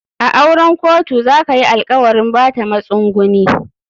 A auren kotu za kayi alkawarin Bata masunguni.